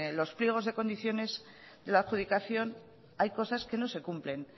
los pliegos de condiciones de la adjudicación hay cosas que no se cumplen